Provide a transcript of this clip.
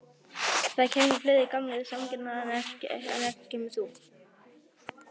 Það kæmu fleiri, gamlir samkennarar, en ekki kæmir þú.